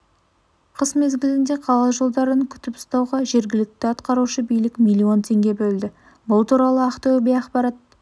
қыс мезгілінде қала жолдарын күтіп ұстауға жергілікті атқарушы билік миллион теңге бөлді бұл туралы ақтөбе ақпарат